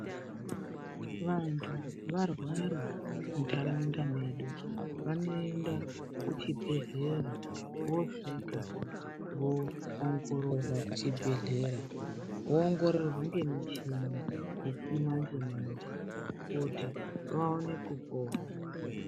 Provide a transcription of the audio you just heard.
Vantu varwara mu ndaraunda medu vanoenda ku chibhedhlera vosvika vo ongororwa ku chibhedhlera vo ongororwa nge muchini yechi manje manje kuti vaone kupona.